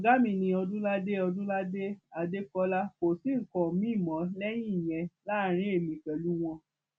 ọgá mi ni ọdúnládé ọdúnládé adékọlá kò sí nǹkan miín mọ lẹyìn ìyẹn láàrin èmi pẹlú wọn